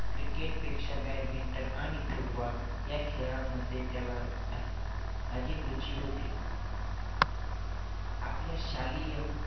cricket पेक्षा badminton आणि football या खेळांमध्ये त्याला अधिक रुचि होती. आपल्या शालेय